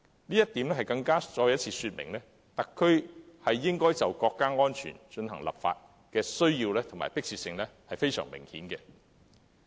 這亦再次說明特區就國家安全進行立法，是明顯有需要和迫切性。